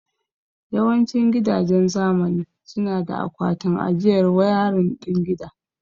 Yawancin gidajen zamani suna da akwatin ajiyar wayarin din gida.